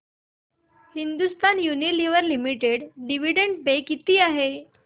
Hindustan Unilever limited dividend pay किती आहे